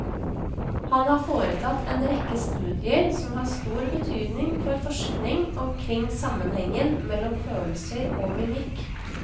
Han har foretatt en rekke studier som har stor betydning for forskning omkring sammenhengen mellom følelser og mimikk.